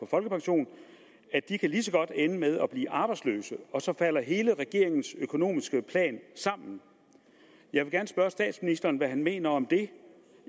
folkepension kan ende med at blive arbejdsløse og så falder hele regeringens økonomiske plan sammen jeg vil gerne spørge statsministeren hvad han mener om det